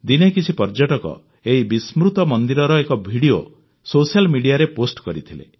ଦିନେ କିଛି ପର୍ଯ୍ୟଟକ ଏହି ବିସ୍ମୃତ ମନ୍ଦିରର ଏକ ଭିଡ଼ିଓ ସୋସିଆଲ ମିଡ଼ିଆରେ ପୋଷ୍ଟ କରିଥିଲେ